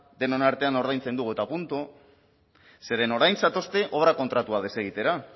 denon artean ordaintzen dugu eta puntu zeren orain zatozte obra kontratua desegitera